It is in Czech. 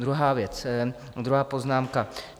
Druhá věc, druhá poznámka.